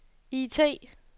IT